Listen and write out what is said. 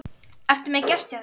Ertu með gest hjá þér